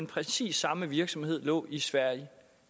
præcis samme virksomheder lå i sverige